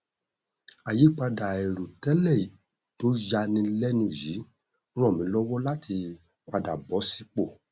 àyípadà àìrò tẹlẹ tó ya ni lẹnu yìí ràn mí lọwọ láti padà bọ sípò